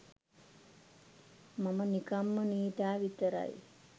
මම නිකම්ම නීතා විතරයි.